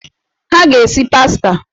Ha ga-esi pasta.